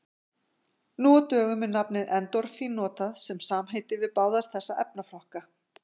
Nú á dögum er nafnið endorfín notað sem samheiti yfir báða þessa efnaflokka.